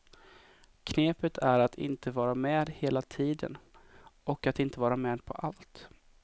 Knepet är att inte vara med hela tiden, och att inte vara med på allt.